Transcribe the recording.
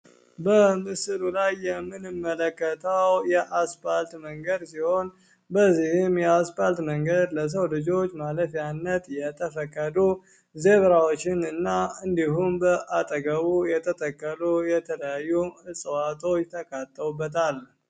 በምስሉ ላይ የምመለከተው የአስፓልት መንገድ ሲሆን፤ በዚህም ያስባል መንገድ ለሰው ልጆች ማለት ፈቀዱ ዜራዎችን እና እንዲሁም በአጠገቡ የተተከሉ የተለያዩ እጽዋቶች ተካተውበታል።